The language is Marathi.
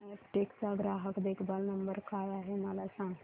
अॅपटेक चा ग्राहक देखभाल नंबर काय आहे मला सांग